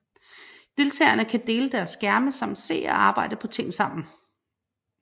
Deltagerne kan dele deres skærme samt se og arbejde på ting sammen